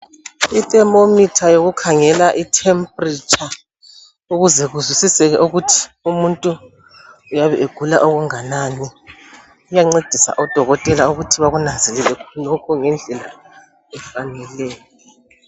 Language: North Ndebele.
Ithermometer yekukhangela itemperature ukuze kuzwisiseke ukuthi umuntu uyabe egula okunganani iyancedisa odokotela ukuthi bekunanzelele lokhu ngendlela efaneleyo.